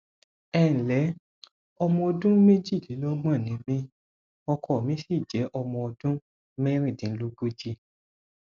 ẹ ǹlẹ ọmọ ọdún méjìlélọgbọn ni mí ọkọ mi sì jẹ ọmọ ọdún mẹrìndínlógójì